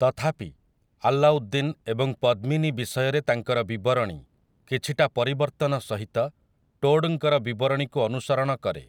ତଥାପି, ଆଲ୍ଲାଉଦ୍ଦିନ୍ ଏବଂ ପଦ୍ମିନୀ ବିଷୟରେ ତାଙ୍କର ବିବରଣୀ, କିଛିଟା ପରିବର୍ତ୍ତନ ସହିତ, ଟୋଡ୍‌ଙ୍କର ବିବରଣୀକୁ ଅନୁସରଣ କରେ ।